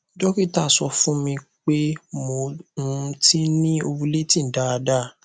dókítà sọ fún mi pé mo um ti ni ovulating daadaa